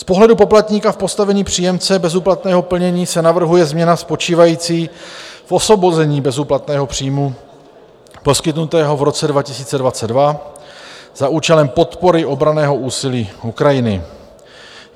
Z pohledu poplatníka v postavení příjemce bezúplatného plnění se navrhuje změna spočívající v osvobození bezúplatného příjmu poskytnutého v roce 2022 za účelem podpory obranného úsilí Ukrajiny.